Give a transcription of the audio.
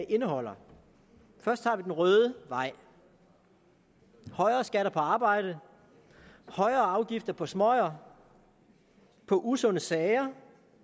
indeholder først tager vi den røde vej højere skatter på arbejde højere afgifter på smøger på usunde sager